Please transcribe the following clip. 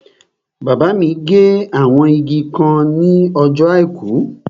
Bàbá mi gé àwọn igi kan ní ọjọ́ àìkú